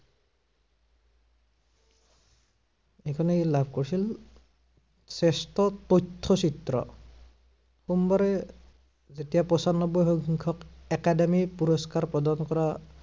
এইখনই লাভ কৰিছিল শ্ৰেষ্ঠ তথ্য় চিত্ৰ। সোমবাৰে, যেতিয়া পঞ্চানব্বৈ সংখ্য়ক Academy পুৰস্কাৰ পদৰ পৰা